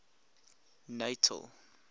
natal